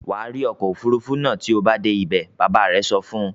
"Wà rí ọkọ̀-òfurufú náà tí o bá dé ibẹ̀!" Bàbá rẹ̀ sọ fún un.